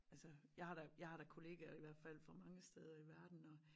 Altså jeg har jeg har da kollegaer i hvert fald fra mange steder i verden og